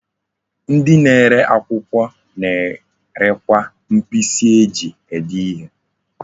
Ndi na-ere akwukwo na-erekwa mkpisi eji ede ihe.